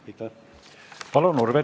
Palun, Urve Tiidus!